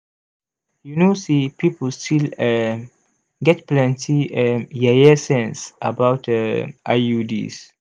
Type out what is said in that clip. you know say people still um get plenty um yeye sense about um iuds